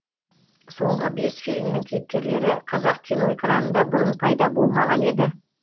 соңғы бес фильмнің кейіпкерлері қазақ киноэкранында бұрын пайда болмаған еді